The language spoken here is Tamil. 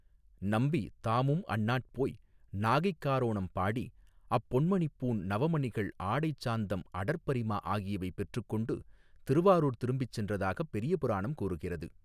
நம்பி தாமும் அந்நாட் போய் நாகைக் காரோணம் பாடி அப்பொன்மணிப் பூண் நவமணிகள் ஆடைசாந்தம் அடற்பரிமா ஆகியவை பெற்றுக்கொண்டு திருவாரூர் திரும்பிச் சென்றதாகப் பெரியபுராணம் கூறுகிறது.